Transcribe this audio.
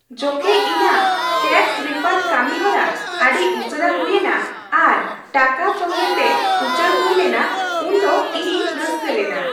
ᱡᱚᱠᱷᱮᱡ ᱤᱧᱟᱹᱜ tax refund ᱠᱟᱹᱢᱤᱦᱚᱨᱟ ᱟᱹᱰᱤ ᱩᱥᱟᱹᱨᱟ ᱦᱩᱭ ᱮᱱᱟ, ᱟᱨ ᱴᱟᱠᱟ ᱥᱚᱸᱜᱮᱛᱮ ᱩᱪᱟᱹᱲ ᱦᱩᱭ ᱞᱮᱱᱟ ᱩᱱᱫᱚ ᱤᱧᱤᱧ ᱨᱟᱹᱥᱠᱟᱹ ᱞᱮᱱᱟ ᱾